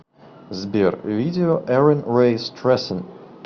сбер видео эрин рэй стрессин